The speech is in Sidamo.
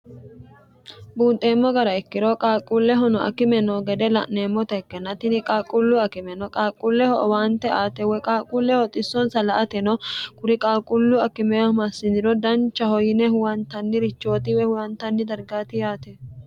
buunxeemmo gara ikkiro qaaquullehono akime no gede la'neemmota ikkennatini qaalqulluu akime no qaalquulleho owaante aate woy qaaqulleho xissonsa la"ateno kuri qaaqullu akimeho massiniro danchaho yine huwantannirichooti woy huwantanni dargaati yaate